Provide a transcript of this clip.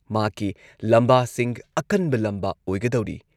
ꯃꯍꯥꯛꯀꯤ ꯂꯝꯕꯥꯁꯤꯡ ꯑꯀꯟꯕ ꯂꯝꯕꯥ ꯑꯣꯏꯒꯗꯧꯔꯤ꯫